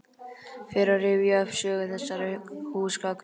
Fer að rifja upp sögu þessara húsgagna.